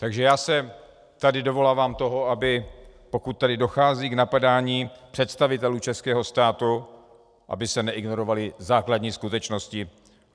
Takže já se tady dovolávám toho, aby pokud tedy dochází k napadání představitelů českého státu, aby se neignorovaly základní skutečnosti.